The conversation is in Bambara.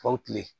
Fɔ kile